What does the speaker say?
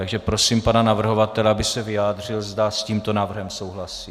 Takže prosím pana navrhovatele, aby se vyjádřil, zda s tímto návrhem souhlasí.